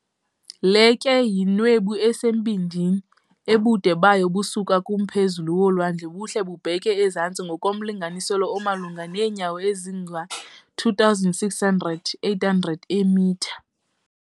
Le ke yinwebu esembindini ebude bayo busuka kumphezulu wolwandle buhle bubheke ezantsi ngokomlinganiselo omalunga neenyawo ezinga-2,600, 800 eemitha.